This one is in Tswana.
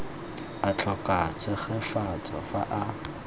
a tlhoka tshegetso fa a